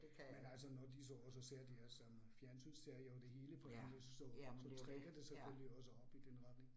Men altså når de så også ser de her sådan fjernsynsserier og det hele på engelsk så så træner det selvfølgelig også op i den retning